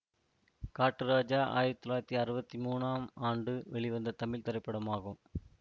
காட்டு ராஜா ஆயிரத்தி தொள்ளாயிரத்தி அறுபத்தி மூனாம் ஆண்டு வெளிவந்த தமிழ் திரைப்படமாகும்